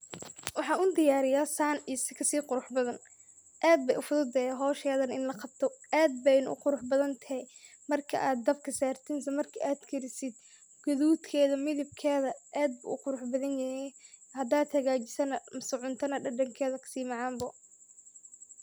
Waxan u diyariya San iyo si kasi quruxsan aad bay u fududehe howsheedan in la qabto aad bayna u qurux badan tahay markad dhabka sartid isla marki ad karisid gadudkeeda midibkeeda aad buu u qurux badan yehe hadan hagajisid na mise cunta na dhadhanked kasi macaan bo